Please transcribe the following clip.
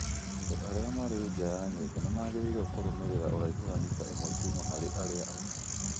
Andũ arĩa marĩ nja ya nyũmba nĩ magĩrĩirũo kũrũmĩrĩra ũraihu wa mita ĩmwe kuuma harĩ arĩa angĩ